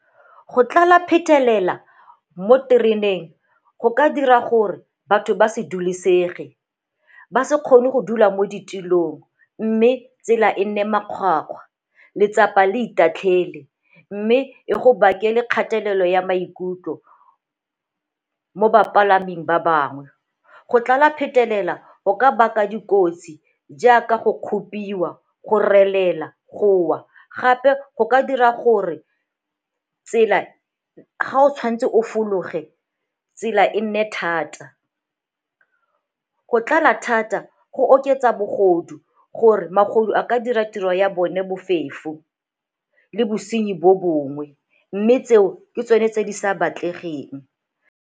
Go tlala phetelela mo tereneng go ka dira gore batho ba se dulesege, ba se kgone go dula mo ditulong mme tsela e nne makgwakgwa, letsapa le itatlhele mme e go bakele kgatelelo ya maikutlo mo bapalaming ba bangwe. Go tlala phetelela go ka baka dikotsi jaaka go kgopiwa, go relela, go wa, gape go ka dira gore ga o tshwanetse o fologe tsela e nne thata. Go tlala thata go oketsa bogodu gore magodu a ka dira tiro ya bone bofefo le bosenyi bo bongwe mme tseo ke tsone tse di sa batlegeng.